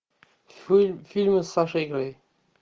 фильмы с сашей грей